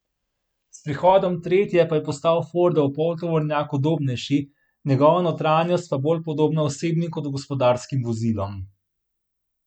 S prihodom tretje pa je postal Fordov poltovornjak udobnejši, njegova notranjost pa bolj podobna osebnim kot gospodarskim vozilom.